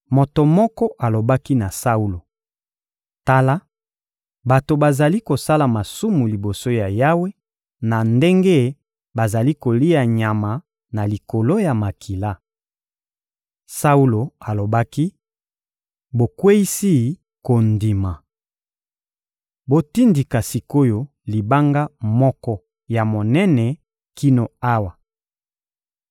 Moto moko alobaki na Saulo: — Tala! Bato bazali kosala masumu liboso ya Yawe na ndenge bazali kolia nyama na likolo ya makila. Saulo alobaki: — Bokweyisi kondima! Botindika sik’oyo libanga moko ya monene kino awa.